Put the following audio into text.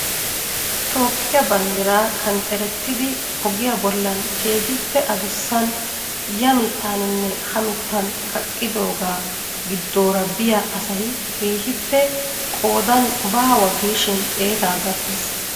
Toophphiya banddiraa qanxxerettidi ogiya bollan keehippe adussan ya mittaaninne ha mittan kaqqidoogaa giddoora biya asay keehippe qoodaan baawa giishin xeetaa gakkees.